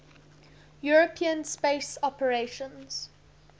european space operations